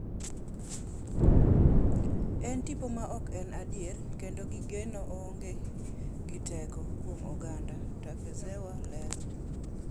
En tipo ma ok en adier kendo gikone, oonge gi teko kuom oganda,” Takezawa lero.